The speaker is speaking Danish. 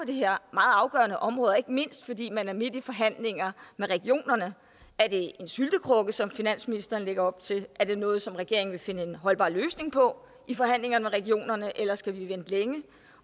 det her meget afgørende område ikke mindst fordi man er midt i forhandlinger med regionerne er det en syltekrukke som finansministeren lægger op til er det noget som regeringen vil finde en holdbar løsning på i forhandlinger med regionerne eller skal vi vente længe